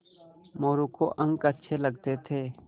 मोरू को अंक अच्छे लगते थे